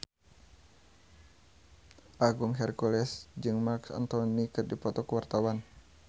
Agung Hercules jeung Marc Anthony keur dipoto ku wartawan